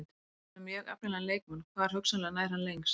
Þú ert með mjög efnilegan leikmann, hvar hugsanlega nær hann lengst?